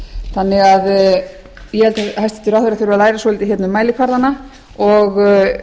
þannig að ég held að hæstvirtur ráðherra þurfi að læra svolítið um mælikvarðana og